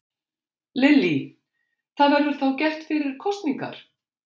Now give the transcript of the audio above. Lillý: Það verður þá gert fyrir kosningar?